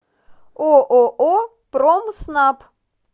ооо промснаб